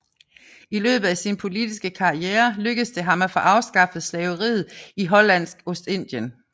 I løbet af sin politiske karriere lykkedes det ham at få afskaffet slaveriet i Hollandsk Ostindien